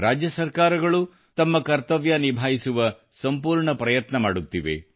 ರಾಜ್ಯ ಸರ್ಕಾರಗಳೂ ತಮ್ಮ ಕರ್ತವ್ಯ ನಿಭಾಯಿಸುವ ಸಂಪೂರ್ಣ ಪ್ರಯತ್ನ ಮಾಡುತ್ತಿವೆ